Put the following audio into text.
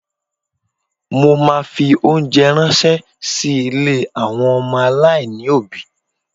Mo ma fi óńjẹ ránṣẹ́ sí ilé àwọn ọmọ aláìní òbí.